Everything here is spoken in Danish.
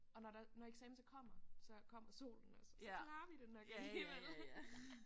Og når der når eksamen så kommer så kommer solen også og så klarer vi det nok alligevel